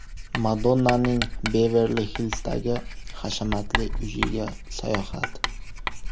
Madonnaning Beverli-Hillzdagi hashamatli uyiga sayohat .